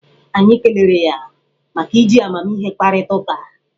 Anyị kelere ya maka iji amamihe kparịta ụka